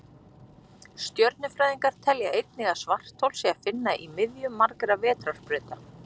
Stjörnufræðingar telja einnig að svarthol sé að finna í miðju margra vetrarbrauta.